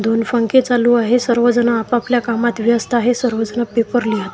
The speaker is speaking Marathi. दोन फंके चालू आहे सर्वजण आपापल्या कामात व्यस्त आहे सर्वजण पेपर लिहत --